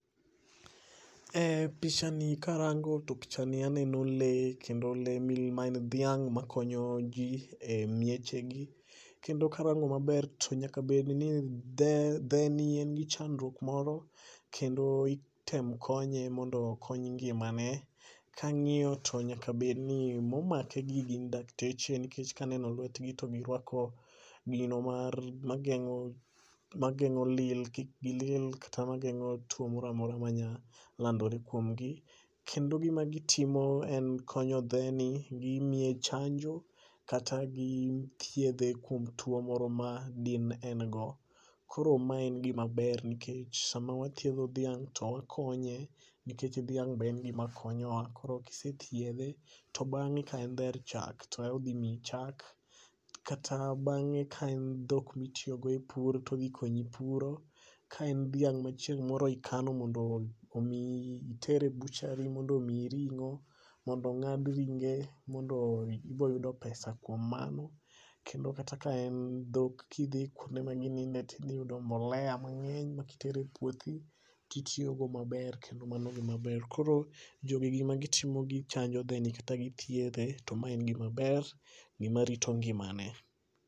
E picha ni karango to pichani aneno lee kendo lee ma en dhiang' makonyo jii e miechegi. Kendo karango maber to nyaka bedni dhe dheni en gi chandruok moro, kendo item konye mondo okony ngimane, kang'iyo to nyaka bedni momake gi gin dakteche nikech kaneno lwetgi to giruako gino mar ma geng'o ma geng'o lil kik gilil kata mageng'o tuo moramora manya landore kuomgi. Kendo gima gitimo, en konyo dheni, gimiye chanjo, kata gi thiedhe kuom tuo moro ma din en go. Koro ma en gimaber nikech sama wathiedho dhiang' to wakonye nikech dhiang' be en gima konyowa koro kisethiedhe, to bang'e ka en dher chak to e odhimiyi chak. Kata bang'e ka en dhok mitiyogo e pur todhikonyi puro, ka en dhiang' ma chieng' moro ikano mondo ol omiyi iter e butchery mondo omiyi ring'o, mondo ong'ad ringe, mondo iboyudo pesa kuom mano. Kendo kata ka en dhok kidhi kwonde ma gininde tidhiyudo mbolea mang'eny ma kitere e puothi, titiyogo maber kendo mano gimaber. Koro, jogi gima gitimo gichanjo dheni kata githiedhe, to ma en gimaber, gimarito ngimane